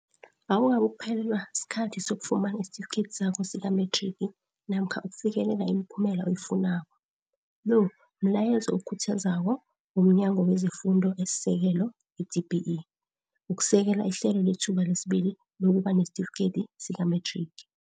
Awukabukuphe lelwa sikhathi sokufumana isitifideki sakho sikamethrigi namkha ukufikelelaimiphumela oyifunako, lo mlayezo okhuthazako womNyango wezeFundo esiSekelo, i-DBE, wokusekela iHlelo leThuba lesiBili lokuba nesitifikedi sikamethrigi.